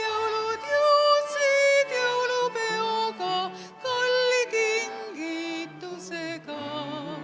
Jõulud jõudsid jõulupeoga, kalli kingitusega.